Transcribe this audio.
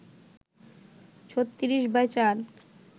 ৩৬/৪